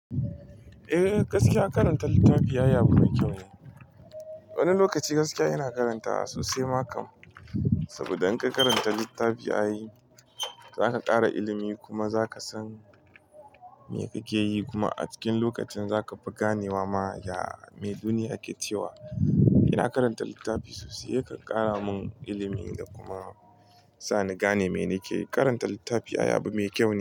Eh gaskiya karanta littafi ai abu mai kyau ne. Wani lokaci gaskiya ina karantawa sosai ma kam. Saboda in ka karanta littafi ai za ka ƙara ilimi kuma za ka san me kake yi kuma a cikin lokacin za ka fi ganewa. Ma ya me duniya ke cewa. Ina karanta littafi sosai, yakan ƙara mun ilimi da kuma sa nagane me nake yi. Karanta littafi ai abu mai kyaune.